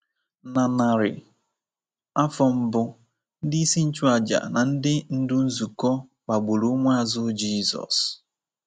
Na narị afọ mbụ, ndị isi nchụàjà na ndị ndú nzukọ kpagburu ụmụazụ Jizọs.